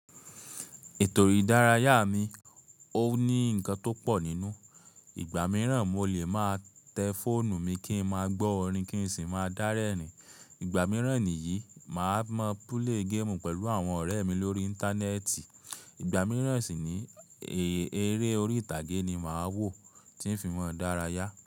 Ètò ìdárayá mi ò ní ǹkan tó pọ̀ nínú. Ìgbà mìíràn mo lè máa tẹ fóònù mi kí n máa gbọ́ orin kí n sì máa dá rẹ́rìn. Ìgbà mìíràn nìyí, màá mọ púlè géèmù pẹ̀lú àwọn ọ̀rẹ́ mi lórí íńtánẹ́ẹ̀tì. Ìgbà mìíràn sì ni, eré orí ìtàgé ni màá wò tí ń fi máa dáráyá.